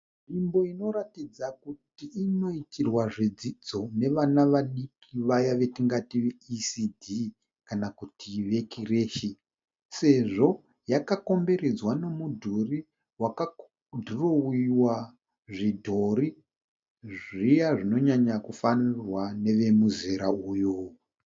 Nzvimbo inoratidza kuti inoitirwa zvidzidzo nevana vadiki vaya vetingati ve ECD kana kuti vekireshi sezvo yakakomberedzwa nomudhuri wakadhirowiwa zvidhori zviya zvinonyanya kufarirwa nevemuzera uyu.